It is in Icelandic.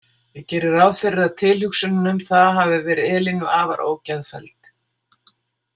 Ég geri ráð fyrir að tilhugsunin um það hafi verið Elínu afar ógeðfelld.